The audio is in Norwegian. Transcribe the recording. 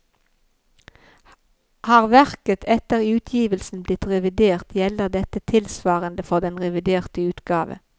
Har verket etter utgivelsen blitt revidert, gjelder dette tilsvarende for den reviderte utgave.